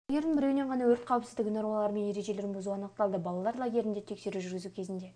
лагердің біреуінен ғана өрт қауіпсіздігі нормалары мен ережелерін бұзу анықталды балалар лагерлерінде тексеру жүргізу кезінде